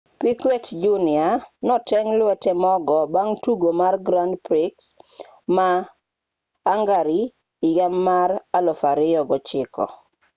piquet jr noteng' lwete mogo bang' tugo mar grand prix ma hungary higa 2009